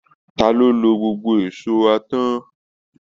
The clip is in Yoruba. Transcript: Ta ló lo gbogbo èṣó wa tán